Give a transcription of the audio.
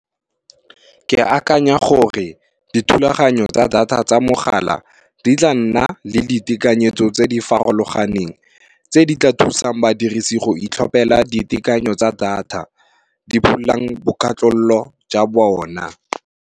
Ke akanya gore dithulaganyo tsa data tsa mogala, di tla nna le ditekanyetso tse di farologaneng, tse di tla thusang badirisi go itlhophela ditekanyo tsa data, di pholang bo katlolo ja bona.